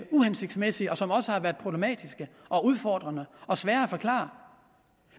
uhensigtsmæssige og som også har været problematiske og udfordrende og svære at forklare